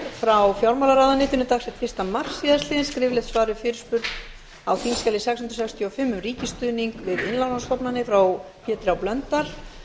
frá fjármálaráðuneytinu dagsett fyrsta mars síðastliðinn skriflegt svar við fyrirspurn á þingskjali sex hundruð sextíu og fimm um ríkisstuðning við innlánsstofnanir frá pétri h blöndal